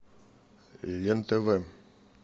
лен тв